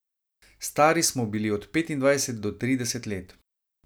Stari smo bili od petindvajset do trideset let.